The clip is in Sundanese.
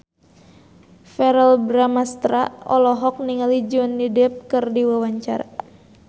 Verrell Bramastra olohok ningali Johnny Depp keur diwawancara